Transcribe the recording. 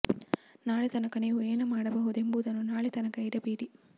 ನಾಳೆ ತನಕ ನೀವು ಏನು ಮಾಡಬಹುದು ಎಂಬುದನ್ನು ನಾಳೆ ತನಕ ಇಡಬೇಡಿ